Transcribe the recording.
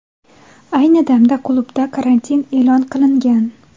Ayni damda klubda karantin e’lon qilingan.